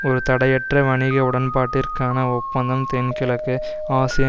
ஒரு தடையற்ற வணிக உடன்பாட்டிற்கான ஒப்பந்தம் தென்கிழக்கு ஆசிய